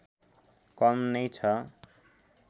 कम नै छ